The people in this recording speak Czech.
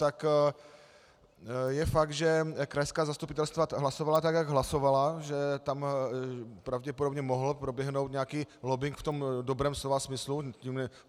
Tak je fakt, že krajská zastupitelstva hlasovala tak, jak hlasovala, že tam pravděpodobně mohl proběhnout nějaký lobbing v tom dobrém slova smyslu.